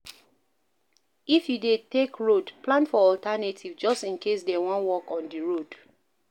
If you dey take road, plan for alternative just in case dem wan work on di road